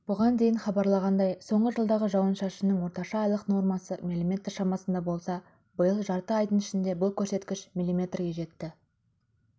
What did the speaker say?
бұған дейін хабарланғандай соңғы жылдағы жауын-шашынның орташа айлық нормасы мм шамасында болса биыл жарты айдың ішінде бұл көрсеткіш миллиметрге жетті